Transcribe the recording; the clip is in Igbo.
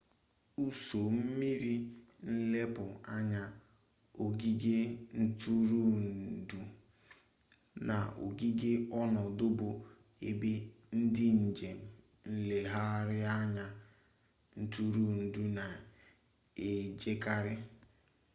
ụsọ mmiri nlepu anya ogige ntụrụndụ na ogige ọnọdụ bụ ebe ndị njem nlegharịanya ntụrụndụ na ejekarị